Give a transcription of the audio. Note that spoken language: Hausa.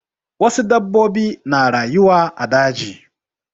Wasu dabbobi na rayuwa a daji.